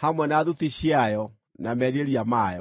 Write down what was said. hamwe na thuti ciayo na merirĩria mayo.